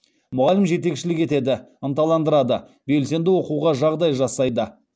мұғалім жетекшілік етеді ынталандырады белсенді оқуға жағдай жасайды